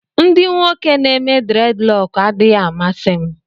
Ndị nwoke n'eme dreadlock adịghị amasị m